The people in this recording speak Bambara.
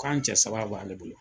Ko an cɛ saba b'ale bolo.